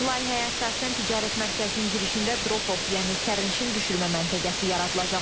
Layihəyə əsasən ticarət mərkəzinin girişində drop-off, yəni sərnişin düşürmə məntəqəsi yaradılacaq.